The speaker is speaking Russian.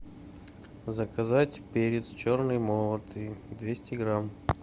заказать перец черный молотый двести грамм